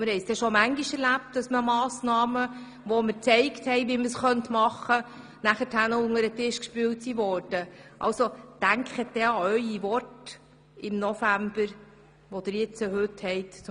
Es ist schon oft vorgekommen, dass wir aufgezeigt haben, welche Massnahmen möglich wären, und diese Vorschläge dann unter den Tisch gewischt wurden.